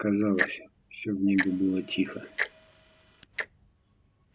казалось всё в небе было тихо